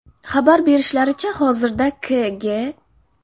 Xabar berishlaricha, hozirda K.G.